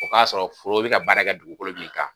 O k'a sɔrɔ foro, i bi ka baara kɛ dugukolo min kan